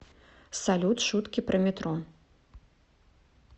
салют шутки про метро